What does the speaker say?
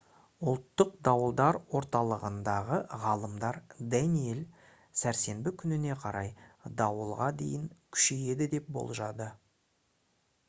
ұлттық дауылдар орталығындағы ғалымдар «даниэль» сәрсенбі күніне қарай дауылға дейін күшейеді деп болжады